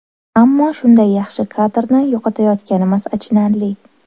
Ammo shunday yaxshi kadrni yo‘qotayotganimiz achinarli.